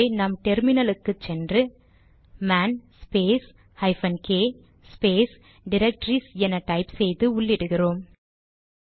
ஆகவே நாம் டெர்மினலுக்கு போய் man space hyphen k space directories என டைப் செய்து உள்ளிடுகிறோம்